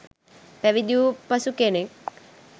පැවිදි වූ පසු කෙනෙක්